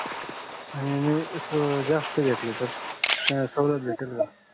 आणि मी अस जास्त घेतले तर त्याला सवलत भेटल णा